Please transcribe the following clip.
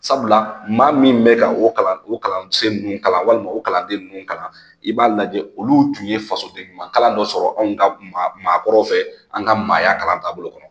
Sabula maa min bɛ ka o kalan o kalansen ninnu kalan walima o kalanden ninnu kalan, i b'a lajɛ olu tun ye fasoden ɲuman kalan dɔ sɔrɔ, anw ka maakɔrɔw fɛ, an ka maaya kalan taabolo kɔnɔ.